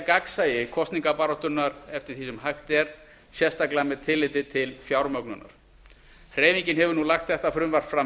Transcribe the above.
gagnsæi kosningabaráttunnar eftir því sem hægt er sérstaklega með tilliti til fjármögnunar hreyfingin hefur nú lagt þetta frumvarp fram